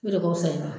O de kosɔn i ma